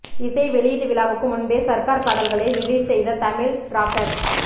இசை வெளியீட்டு விழாவுக்கு முன்பே சர்கார் பாடல்களை ரிலீஸ் செய்த தமிழ் ராக்கர்ஸ்